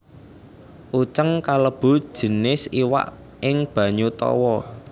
Uceng kalebu jinis iwak ing banyu tawa